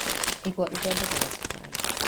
Igwa ithondekaga cukari.